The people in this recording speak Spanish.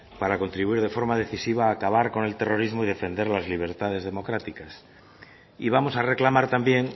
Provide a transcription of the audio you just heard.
para contribuir de forma decisiva a acabar con el terrorismo y defender las libertades democráticas y vamos a reclamar también